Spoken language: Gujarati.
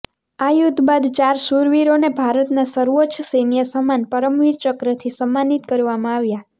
આ યુદ્ધ બાદ ચાર શુરવીરોને ભારતના સર્વોચ્ચ સૈન્ય સમ્માન પરમવીર ચક્રથી સમ્માનિત કરવામાં આવ્યા